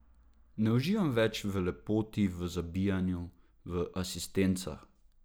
Ne uživam več v lepoti, v zabijanju, v asistencah.